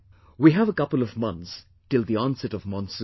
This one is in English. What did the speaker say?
We have a couple of months till the onset of monsoon